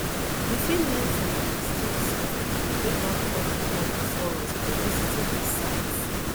we fit learn from di mistakes of pipo wey don come di world before us by visiting these sites